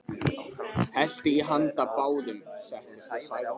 Hellti í handa báðum, settist og sagði: